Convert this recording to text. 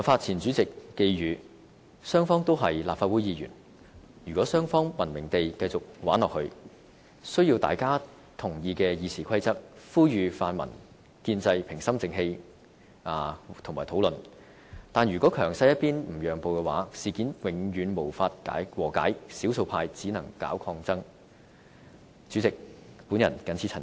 前主席黃宏發寄語"雙方都是立法會議員，如果雙方'文明地'繼續'玩下去'，需要大家都同意的《議事規則》，呼籲泛民建制心平氣和討論，但如果強勢一邊不讓步的話，事件永遠無法和解，少數派只能搞抗爭。